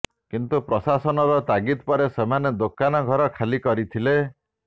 କିନ୍ତୁ ପ୍ରଶାସନର ତାଗିଦ୍ ପରେ ସେମାନେ ଦୋକାନ ଘର ଖାଲି କରିଥିଲେ